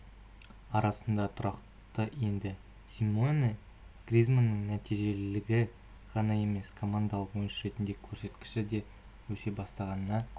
арасына тұрақты енді симеоне гризманның нәтижелілігі ғана емес командалық ойыншы ретіндегі көрсеткіші де өсе бастағанына